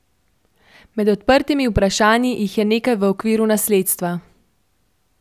Med odprtimi vprašanji jih je nekaj v okviru nasledstva.